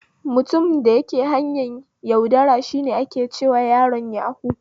Mutumin da yake harkar yaudara shi ake cewa yaron yahu